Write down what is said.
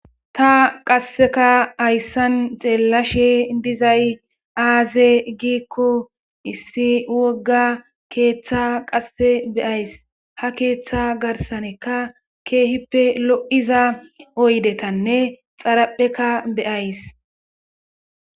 Ta qasseka hayssan xeellashe dizay aaze giikko issi wogga keeththa qasse beyays ha keeththa garsanekka keehippe lo7iza oydetanne xarapheka beyays.